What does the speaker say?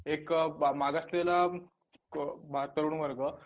एक मागासलेला तरुणवर्ग